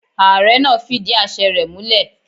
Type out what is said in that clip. Ààre náà fidí àse rẹ múlè.